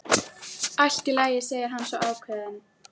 Allt í lagi, segir hann svo ákveðinn.